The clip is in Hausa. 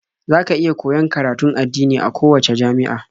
Za ka iya koyon karatun addini a kowacce jami'a.